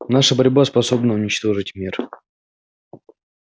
наша борьба способна уничтожить мир